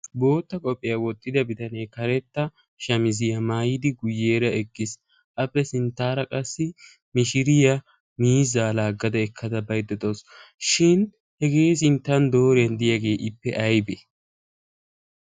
bootta qopphiyaa woottida bitanee karetta shamiziyaa maayidi guyyeera eqqiis. appe sinttaara qassi mishiriya miizaa laaggada ekkada baiddadoos shin hegee sinttan dooren diyaagee ippe aibe?